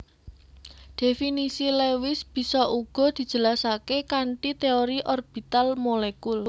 Dhéfinisi Lewis bisa uga dijelasaké kanthi téori orbital molekul